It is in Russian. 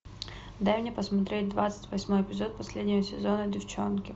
дай мне посмотреть двадцать восьмой эпизод последнего сезона девчонки